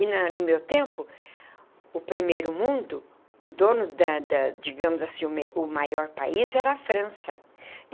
E na no meu tempo, o primeiro mundo, o dono da da, digamos assim, o me o maior país era a França.